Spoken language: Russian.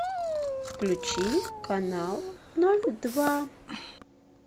включи канал ноль два